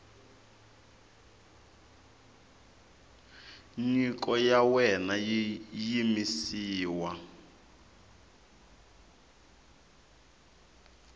nyiko ya wena yi yimisiwa